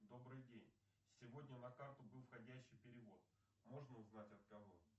добрый день сегодня на карту был входящий перевод можно узнать от кого